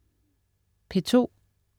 P2: